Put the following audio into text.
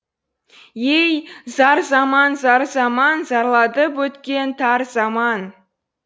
ей зар заман зар заман зарлатып өткен тар заман